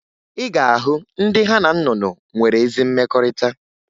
Ị ga-ahụ ndị ha na nnụnụ nwere ezi mmekọrịta